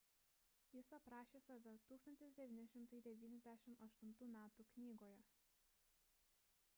jis aprašė save 1998 m knygoje